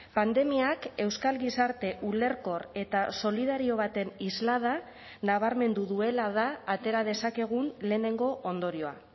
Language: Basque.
pandemiak euskal gizarte ulerkor eta solidario baten islada nabarmendu duela da atera dezakegun lehenengo ondorioa